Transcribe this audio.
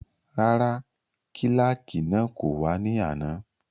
Rárá, kílàkì náà kò wá ní àná